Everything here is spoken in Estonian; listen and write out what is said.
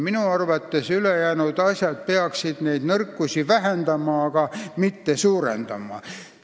Minu arvates peaksid ülejäänud asjad neid nõrkusi vähendama, mitte suurendama.